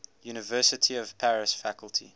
university of paris faculty